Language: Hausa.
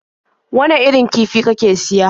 Wane irin kifi kake siya?